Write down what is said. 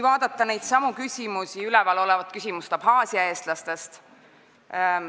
Vaatame ka Abhaasia eestlaste küsimust.